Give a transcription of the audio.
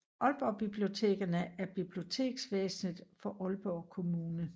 Aalborg Bibliotekerne er biblioteksvæsenet for Aalborg Kommune